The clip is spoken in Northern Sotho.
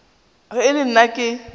ge e le nna ke